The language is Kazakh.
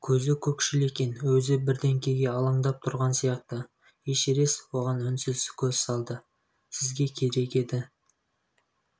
көзі көкшіл екен өзі бірдеңеге алаңдап тұрған сияқты эшерест оған үнсіз көз салды сізге керек еді